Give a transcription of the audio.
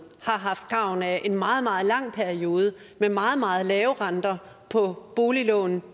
har haft samme gavn af den meget meget lange periode med meget meget lave renter på boliglån